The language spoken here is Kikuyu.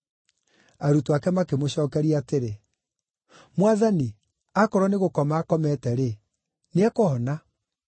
Arutwo ake makĩmũcookeria atĩrĩ, “Mwathani, akorwo nĩ gũkoma akomete-rĩ, nĩekũhona.”